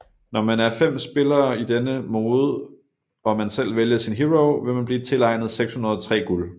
Når man er 5 spillere i denne mode og man selv vælger sin hero vil man blive tilegnet 603 guld